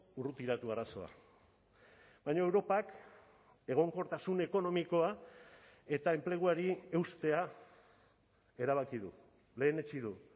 urrutiratu arazoa baina europak egonkortasun ekonomikoa eta enpleguari eustea erabaki du lehenetsi du